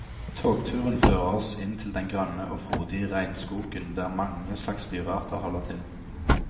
Togturen fører oss inn til den grønne og frodig regnskogen der mange slags dyrearter holder til.